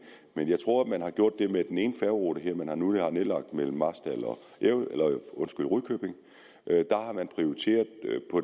jeg tror man har gjort det med den ene færgerute her nu har nedlagt mellem marstal og rudkøbing at